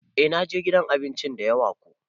Eh na je gidan abinci dayawa ko.